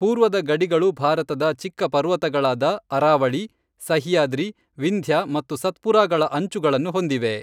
ಪೂರ್ವದ ಗಡಿಗಳು ಭಾರತದ ಚಿಕ್ಕ ಪರ್ವತಗಳಾದ ಅರಾವಳಿ, ಸಹ್ಯಾದ್ರಿ, ವಿಂಧ್ಯ ಮತ್ತು ಸತ್ಪುರಾಗಳ ಅಂಚುಗಳನ್ನು ಹೊಂದಿವೆ.